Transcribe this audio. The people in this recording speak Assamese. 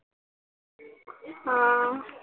আহ